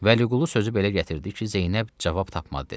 Vəliqulu sözü belə gətirdi ki, Zeynəb cavab tapmadı desin.